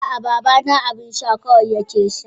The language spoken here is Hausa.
Aa babana abun sha kawai yake sha.